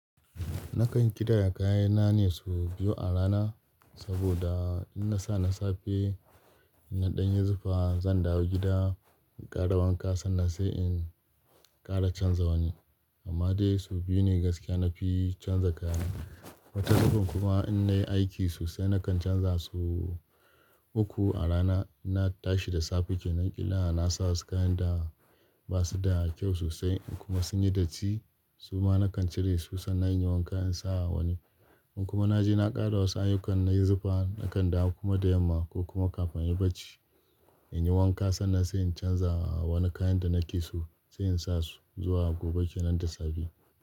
Nakan kidaya kayana ne sau biyu a rana, saboda in na sa na safe in na ɗan yi zufa, zan dawo gida in ƙara wanka sannan sai in ƙara canza wani. Amma dai sau biyu ne gaskiya na fi canza kaya. Wata zubin kuma in na yi aiki sosai nakan canza sau uku a rana. In na tashi da safe kenan ƙila na sa wasu kayan da basuda kyau sosai kuma sunyi datti. Suma nakan cire su sannan in yi wanka in sa wani. In kuma na je na ƙara wasu ayukan na yi zufa, nakan dawo kuma da yamma ko kuma kafin ya barci in yi wanka sannan sai in canza wani kayan da na ki so sai in sa su zuwa gobe kenan da safe.